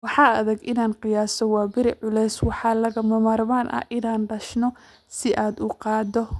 "Waa adag inaan qiyaaso waaberi culus - waxaa lagama maarmaan ah inaan dishno si aan u qaado."